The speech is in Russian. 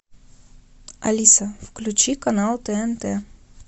алиса включи канал тнт